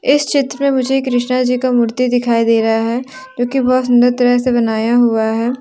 इस चित्र में मुझे कृष्णा जी का मूर्ति दिखाई दे रहा है जो कि बहुत सुंदर तरह से बनाया गया है ।